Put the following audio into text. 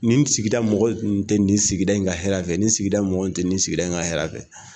Nin sigida mɔgɔ tun tɛ nin sigida in ka hɛrɛ fɛ, nin sigida in mɔgɔ in tɛ nin sigida in ka hɛrɛ fɛ!